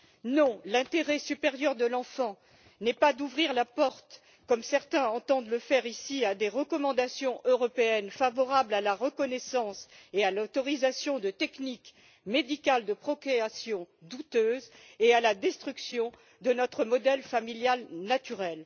non, l'intérêt supérieur de l'enfant n'est pas d'ouvrir la porte, comme certains entendent le faire ici, à des recommandations européennes favorables à la reconnaissance et à l'autorisation de techniques médicales de procréation douteuses et à la destruction de notre modèle familial naturel.